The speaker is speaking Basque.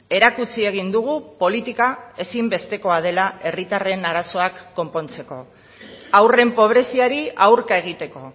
erakutsi egin dugu politika ezinbestekoa dela herritarren arazoak konpontzeko haurren pobreziari aurka egiteko